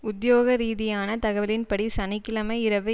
உத்தியோகரீதியான தகவலின்படி சனி கிழமை இரவு